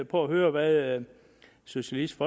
på at høre hvad socialistisk